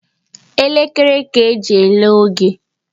Elekere ka anyị ji ele oge